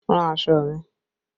Rán aṣọ mi!